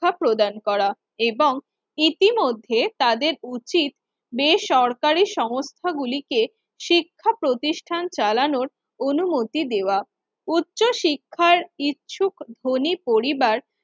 ক্ষা প্রদান করা এবং ইতিমধ্যে তাদের উচিত বেসরকারি সংস্থাগুলিকে শিক্ষা প্রতিষ্ঠান চালানোর অনুমতি দেওয়া। উচ্চ শিক্ষায় ইচ্ছুক ধনী পরিবার